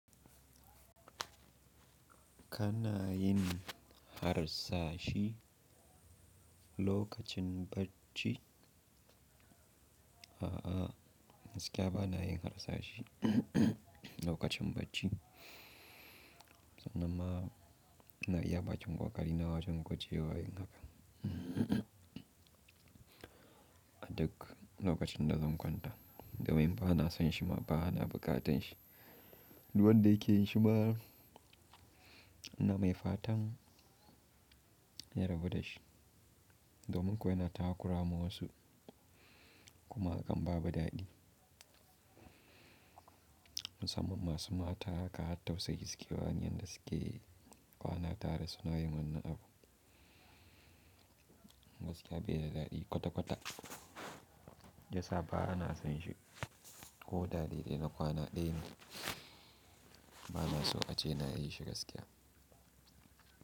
Kana yin harsashe lokacin bacci? A'a, gaskiya ba na yin harsashe lokacin bacci. Sanan ma ina iya bakin ƙoƙarina wajen gujewa yin hakan. A duk lokacin da zan kwanta, domin ba na son shi ma ba, ba na buƙatan shi. Duk wanda yake yin shi ma ina mai fatan ya rabu da shi, domin kuwa yana takura ma wasu kuma hakan babu dadi. Musamman masu mata haka har tausayi suke bani yanda suke kwana tare suna yi wannan abu. Gaskiya bai da daɗi kwata-kwata. Shiyasa ba na son shi koda dai dai na kwana ɗaya ne, ba na so ace na yi shi gaskiya.